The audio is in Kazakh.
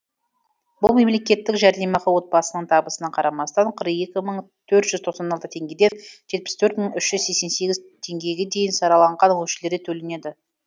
бұл мемлекеттік жәрдемақы отбасының табысына қарамастан қырық екі мың төрт жүз тоқан алты теңгеден жетпіс төрт мың үш жүз сескен сегіз теңгеге дейін сараланған мөлшерде төленеді